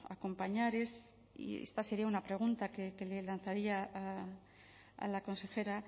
acompañar es y esta sería una pregunta que le lanzaría a la consejera